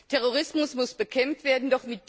Terrorismus muss bekämpft werden.